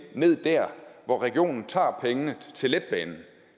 ned dér hvor regionen tager pengene til letbanen